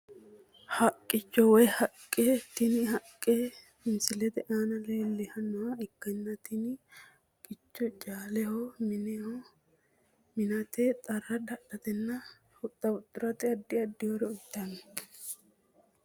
Haqqicho woyi haqqe tini haqqe misilete aana leelanoha ikkana tini haqqeno caaleho mine minate xarra dadhate huxa huxiratenna adi adi horo uyitano.